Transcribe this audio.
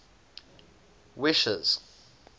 wishes